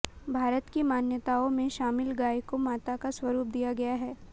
भारत की मान्यताओं में शामिल गाय को माता का स्वरूप दिया गया है